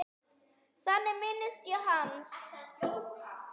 Þannig minnist ég hans.